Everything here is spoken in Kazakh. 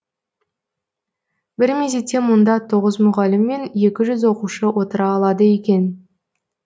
бір мезетте мұнда тоғыз мұғалім мен екі жүз оқушы отыра алады екен